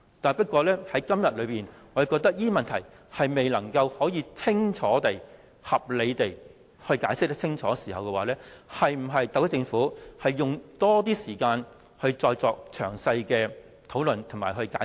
不過，我認為特區政府既然未能合理地解釋清楚這些問題，是否應該用更多時間作詳細討論和解釋？